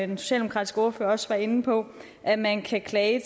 den socialdemokratiske ordfører også var inde på at man kan klage